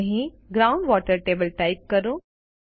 અહીં ground water table type કરો